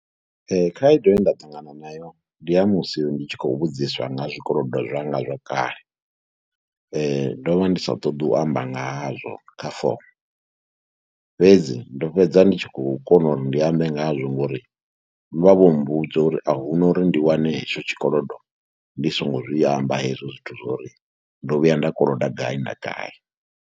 khaedu ye nda ṱangana nayo ndi ya musi ndi tshi khou vhudziswa nga zwikolodo zwa ngazwo kale, ndo vha ndi sa ṱoḓi u amba nga hazwo kha fomo. Fhedzi ndo fhedza ndi tshi khou kona uri ndi ambe ngazwo ngori vha vho mbudza uri a hu na uri ndi wane hetsho tshikolodo ndi songo zwi amba hezwo zwithu zwo uri ndo vhuya nda koloda gai na gai.